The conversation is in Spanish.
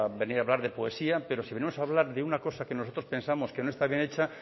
venir a hablar de poesía pero si venimos hablar de una cosa que nosotros pensamos que no está bien hecha